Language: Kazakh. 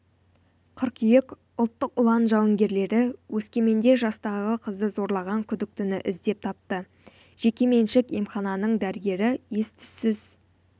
қыркүйек ұлттық ұлан жауынгерлері өскеменде жастағы қызды зорлаған күдіктіні іздеп тапты жеке меншік емхананың дәрігері ес-түзсіз